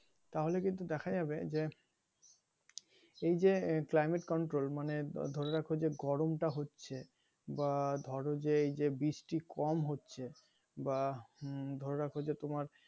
তাহলে কিন্তু দেখা যাবে যে এই যে climate control মানে ধরে রাখুন যে গরমটা হচ্ছে বা ধরো যে এইযে বৃষ্টি কম হচ্ছে বা উম ধরে রাখো যে তোমার,